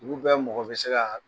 Dugu bɛɛ mɔgɔ bɛ se